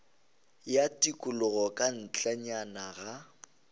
ya tikologo ka ntlenyana ga